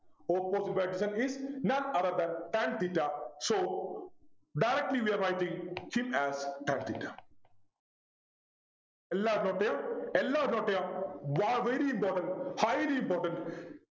Opposite by adjacent is none other than tan theta So directly we are writing him as tan theta എല്ലാവരും note ചെയ്യാ എല്ലാവരും note ചെയ്യാ Very important highly important